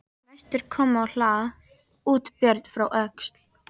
Næstur kom á hlað út Björn frá Öxl.